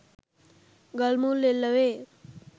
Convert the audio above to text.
ගල් මුල් එල්ල වේ